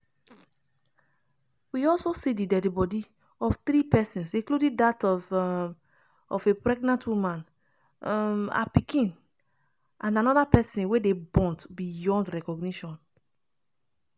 we also see di deadi body of three pesins including dat of um of a pregnant woman um her pikin and anoda pesin wey dey burnt beyond recognition.